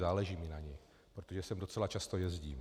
Záleží mi na ní, protože sem docela často jezdím.